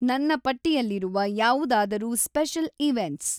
ನನ್ನ ಪಟ್ಟಿಯಲ್ಲಿರುವ ಯಾವುದಾದರೂ ಸ್ಪೆಷಲ್ ಇವೆಂಟ್ಸ್